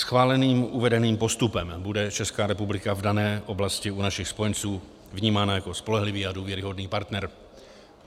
Schváleným uvedeným postupem bude Česká republika v dané oblasti u našich spojenců vnímána jako spolehlivý a důvěryhodný partner.